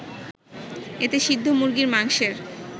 এতে সিদ্ধ মুরগির মাংসের